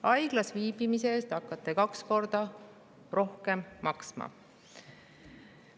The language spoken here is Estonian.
Haiglas viibimise eest hakkate kaks korda rohkem maksma.